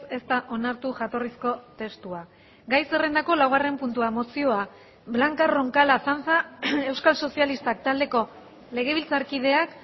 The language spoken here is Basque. ez da onartu jatorrizko testua gai zerrendako laugarren puntua mozioa blanca roncal azanza euskal sozialistak taldeko legebiltzarkideak